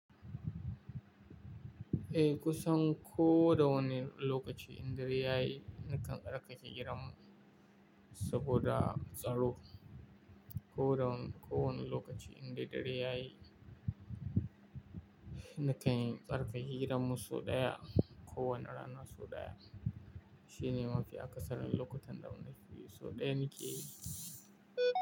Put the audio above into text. Eh, kusan ko da wane lokaci in dare yayi nakan tsarkake gidan mu saboda tsaro. Ko da wani, ko wane lokaci in dai dare yayi nakan tsarƙake gidan mu sau ɗaya. Ko wani rana sau ɗaya. Shine mafi akasarin lokutan da muna free, sau ɗaya nake yi.